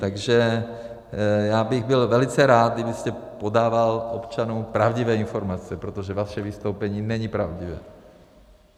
Takže já bych byl velice rád, kdybyste podával občanům pravdivé informace, protože vaše vystoupení není pravdivé.